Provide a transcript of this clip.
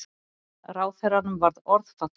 Ráðherranum varð orðfall.